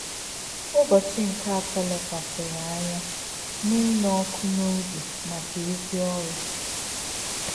Ụ́bọ̀chí̄ nké̄ Àtọ̄ lē̄kwàsị̀rị̀ ànyá̄ n’ínụ́ ọ́kụ́ n’ọ̀bí̄ màkà̄ ézì ọ́rụ́.